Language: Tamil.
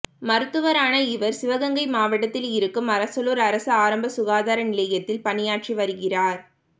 மருத்துவரான இவர் சிவகங்கை மாவட்டத்தில் இருக்கும் அரசலூர் அரசு ஆரம்ப சுகாதார நிலையத்தில் பணியாற்றி வருகிறார்